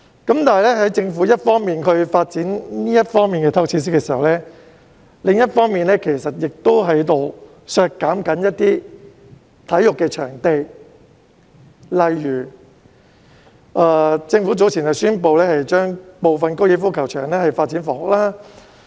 但是，政府一方面發展這方面的體育設施，另一方面其實亦在削減一些體育場地，例如政府早前宣布將部分高爾夫球場發展房屋。